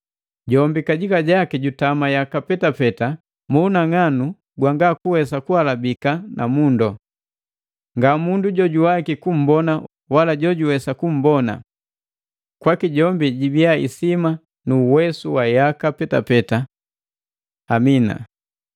Jombi kajika jaki jutama yaka petapeta mu unang'anu gwanga kuwesa kuhalabiwa na mundu. Nga mundu jojuwaiki kumbona wala jojuwesa kumbona. Kwaki jibiya isima nu uwesu wa yaka petapeta! Amina.